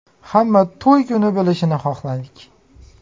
Hamma to‘y kuni bilishini xohladik.